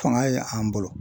Fanga ye an bolo.